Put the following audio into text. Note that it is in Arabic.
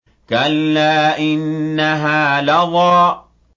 كَلَّا ۖ إِنَّهَا لَظَىٰ